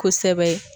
Kosɛbɛ